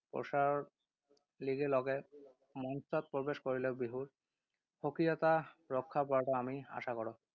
প্ৰসাৰৰ লিগে লগে মঞ্চত প্ৰৱেশ কৰিলেও বিহুৰ স্বকীয়তা ৰক্ষা পৰাটো আমি আশা কৰোঁ।